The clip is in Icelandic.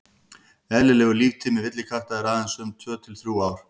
eðlilegur líftími villikatta er aðeins um tvö til þrjú ár